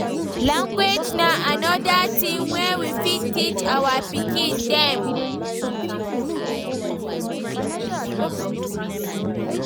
Language na anoda thing wey we fit teach our pikin dem